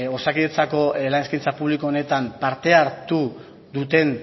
osakidetzako lan eskaintza publiko honetan parte hartu duten